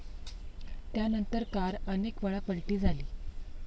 त्यांनतर कार अनेकवेळा पलटी झाली.